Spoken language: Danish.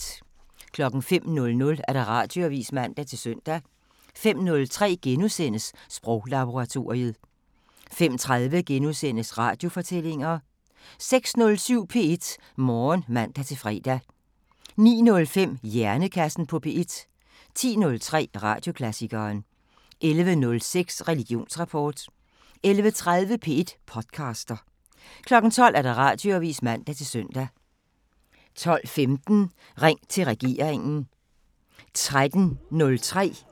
05:00: Radioavisen (man-søn) 05:03: Sproglaboratoriet * 05:30: Radiofortællinger * 06:07: P1 Morgen (man-fre) 09:05: Hjernekassen på P1 10:03: Radioklassikeren 11:06: Religionsrapport 11:30: P1 podcaster 12:00: Radioavisen (man-søn) 12:15: Ring til regeringen